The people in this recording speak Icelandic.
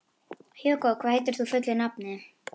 Hugó, hvað heitir þú fullu nafni?